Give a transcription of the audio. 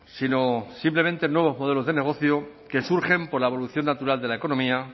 sino simplemente nuevos modelos de negocio que surgen por la evolución natural de la economía